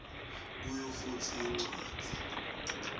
kuyo futsi incwadzi